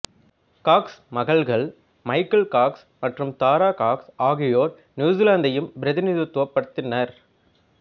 Cox மகள்கள் Michael Cox மற்றும் Tara Cox ஆகியோர் நியூசிலாந்தையும் பிரதிநிதித்துவப்படுத்தினர்